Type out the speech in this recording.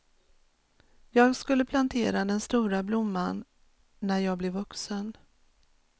Jag skulle plantera den stora blomman, när jag blev vuxen.